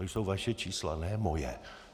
To jsou vaše čísla, ne moje.